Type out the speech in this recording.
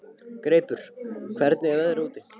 Greipur, hvernig er veðrið úti?